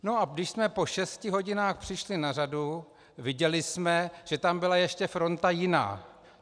No a když jsme po šesti hodinách přišli na řadu, viděli jsme, že tam byla ještě fronta jiná.